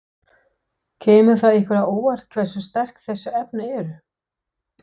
Kemur það ykkur á óvart hversu sterk þessi efni eru?